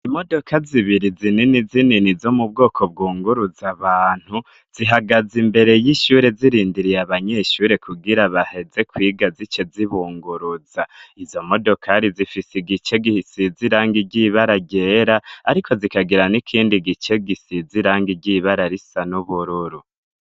Imodoka zibiri zinini zinini zo mu bwoko bwunguruza abantu, zihagaze imbere y'ishure zirindiriye abanyeshure kugira baheze kwiga zice zibunguruza. Izo modokari zifise igice gisize irangi ry'ibara ryera ariko zikagira n'ikindi gice gisize irangi ry'ibara risa n'ubururu.